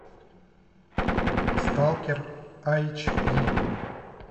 сталкер айч ди